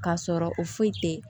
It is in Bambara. K'a sɔrɔ o foyi tɛ